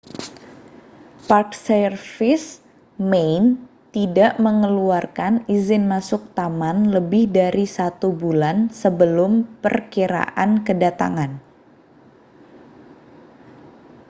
park service minae tidak mengeluarkan izin masuk taman lebih dari satu bulan sebelum perkiraan kedatangan